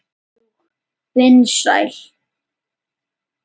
Og vinsæl.